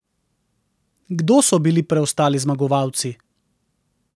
Kdo so bili preostali zmagovalci?